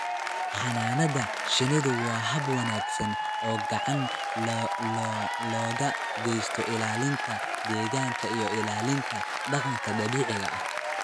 Xannaanada shinnidu waa hab wanaagsan oo gacan looga geysto ilaalinta deegaanka iyo ilaalinta dhaqanka dabiiciga ah.